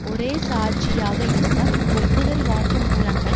ஒரே சாட்சியாக இருந்த ஒப்புதல் வாக்குமூலங்கள்